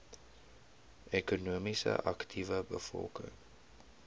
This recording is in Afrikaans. ekonomies aktiewe bevolking